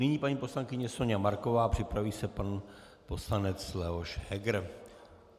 Nyní paní poslankyně Soňa Marková, připraví se pan poslanec Leoš Heger.